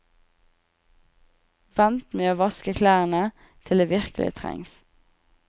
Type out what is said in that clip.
Vent med å vaske klærne til det virkelig trengs.